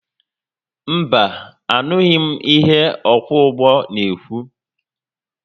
Mba, anụghi m ihe ọkwọ ụgbọ n'ekwu